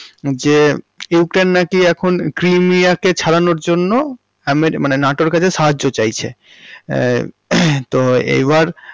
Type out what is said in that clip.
যে ইউক্রেইন্ নাকি এখন ক্রিমিয়াকে ছাড়ানোর জন্য হামে, মানে নাটোর কাছে সাহায্য চাইছে, হমম তো এবার।